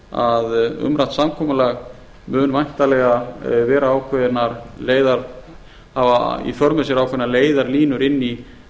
að umrætt samkomulag mun væntanlega hafa í för með sér ákveðnar leiðarlínur inn í